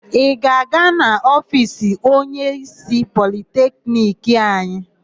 Ị ga-aga n'ofiisi onyeísí Politekniki anyị?